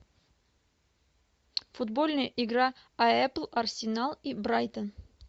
футбольная игра апл арсенал и брайтон